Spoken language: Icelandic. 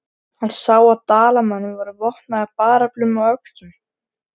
Hann sá að Dalamenn voru vopnaðir bareflum og öxum.